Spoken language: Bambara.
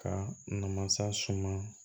Ka na masa suma